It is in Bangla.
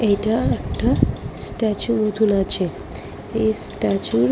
এটা একটা স্ট্যাচু মতন আছে এই স্ট্যাচু র--